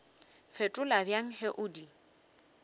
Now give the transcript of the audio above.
fetola bjang ge o di